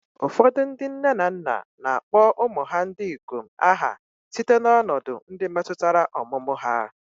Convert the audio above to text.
Ụfọdụ ndị nne na nna na-akpọ ụmụ ha ndị ikom aha site na ọnọdụ ndị metụtara ọmụmụ ha.